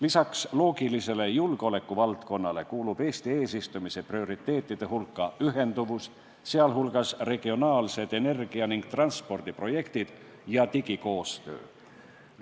Lisaks loogilisele julgeolekuvaldkonnale kuulub Eesti eesistumise prioriteetide hulka ühenduvus, sh regionaalsed energia- ja transpordiprojektid ning digikoostöö.